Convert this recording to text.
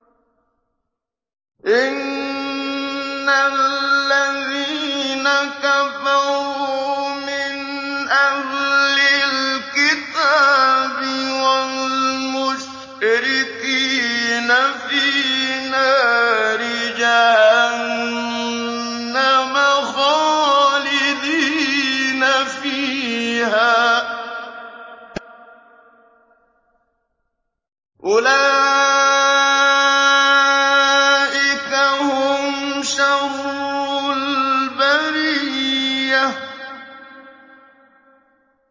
إِنَّ الَّذِينَ كَفَرُوا مِنْ أَهْلِ الْكِتَابِ وَالْمُشْرِكِينَ فِي نَارِ جَهَنَّمَ خَالِدِينَ فِيهَا ۚ أُولَٰئِكَ هُمْ شَرُّ الْبَرِيَّةِ